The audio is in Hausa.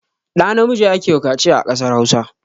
Ɗa namiji ake wa kaciya a kasar Hausa